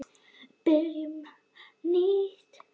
Við byrjum nýtt líf.